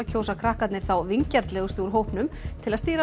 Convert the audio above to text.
kjósa krakkarnir þá vingjarnlegustu úr hópnum til að stýra